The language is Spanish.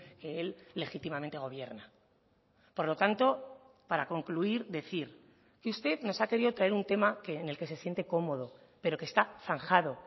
que él legítimamente gobierna por lo tanto para concluir decir que usted nos ha querido traer un tema que en el que se siente cómodo pero que está zanjado